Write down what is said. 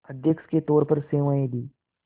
अध्यक्ष के तौर पर सेवाएं दीं